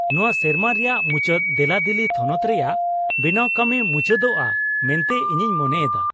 ᱱᱚᱣᱟ ᱥᱮᱨᱢᱟ ᱨᱮᱭᱟᱜ ᱢᱩᱪᱟᱹᱫ ᱫᱮᱞᱟᱫᱤᱞᱤ ᱛᱷᱚᱱᱚᱛ ᱨᱮᱭᱟᱜ ᱵᱮᱱᱟᱣ ᱠᱟᱹᱢᱤ ᱢᱩᱪᱟᱹᱫᱚᱜᱼᱟ ᱢᱮᱱᱛᱮ ᱤᱧᱤᱧ ᱢᱚᱱᱮᱭᱮᱫᱟ ᱾